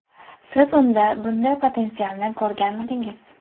Siz unda bunday potensialni ko‘rganmidingiz?